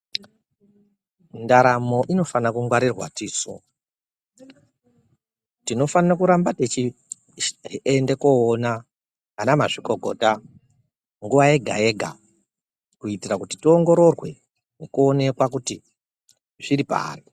Ndaramo inofanirwe kugwarirwa tisu ,tinofanire kuramba tichienda koona ana mazvikokota ,nguva yega yega kuitira kuti tiongorerwe nekuonekwa kuti zviripari.